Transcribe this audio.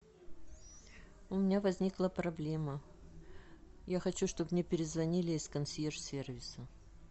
у меня возникла проблема я хочу чтобы мне перезвонили из консьерж сервиса